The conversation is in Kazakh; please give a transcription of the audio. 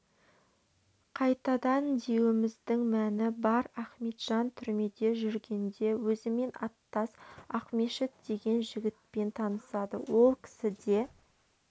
қайтадан деуіміздің мәні бар ахметжан түрмеде жүргенде өзімен аттас ақмешіт деген жігітпен танысады ол кісі де